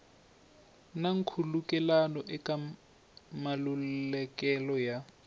na nkhulukelano eka malukelo ya